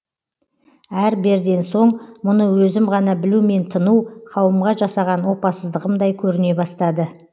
әр берден соң мұны өзім ғана білумен тыну қауымға жасаған опасыздығымдай көріне бастады